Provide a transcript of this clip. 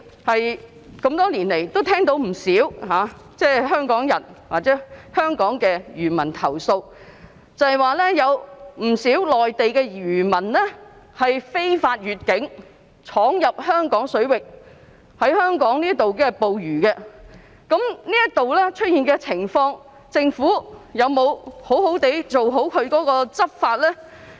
我們多年來聽到不少香港漁民投訴，指不少內地漁民非法越境闖入香港水域在香港捕魚，就這方面的情況，政府有否妥善執法呢？